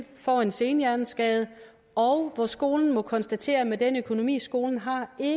får en senhjerneskade og hvor skolen må konstatere at med den økonomi skolen har er